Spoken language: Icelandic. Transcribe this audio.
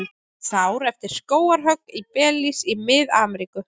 Sár eftir skógarhögg í Belís í Mið-Ameríku.